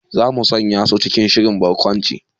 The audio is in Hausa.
Za mu sanya su cikin shirin barkwancin